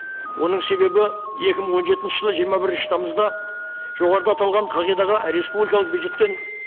оның себебі екі мың он жетінші жылы жиырма бірінші тамызда жоғарыда аталған қағидаға республикалық бюджеттен